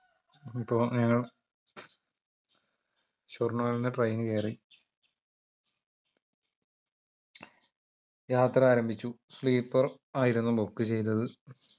അപ്പൊ ഞങ്ങൾ ഷൊർണൂരിൽ നിന്ന് train കേറി യാത്ര ആരംഭിച്ചു sleeper ആയിരുന്നു book ചെയ്തത്